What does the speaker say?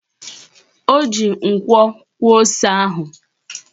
O ji nkwo kwọọ ose ahụ